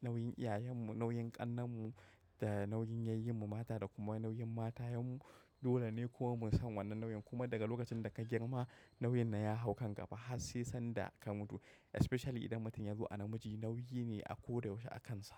nauyin iyayen mu, nauyin ƙannen mu da nauyin yayyin mu mata da kuma nauyin matayen mu. Dole ne kuma mu san wannan nauyin kuma daga lokacin da ka girma nauyin na ya hau kan gaba har sai sanda ka mutu. Especially idan mutum ya zo a namiji nauyi ne a ko da yaushe a kansa.